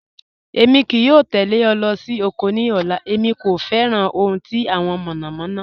Èmi kìí yọ̀ tẹlẹ̀ ọ̀ lọ́ sí oko ní ọ̀là, èmi kò fẹ́ran ohun tí awọn mọ̀nọ̀mọ̀nọ̀.